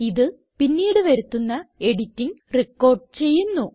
ഇത് പിന്നീട് വരുത്തുന്ന എഡിറ്റിംഗ് റിക്കോർഡ് ചെയ്യുന്നു